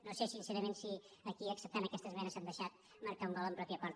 no sé sincerament si aquí acceptant aquesta esmena s’han deixat marcar un gol en pròpia porta